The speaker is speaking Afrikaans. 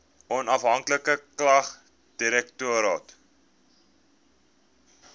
onafhanklike klagtedirektoraat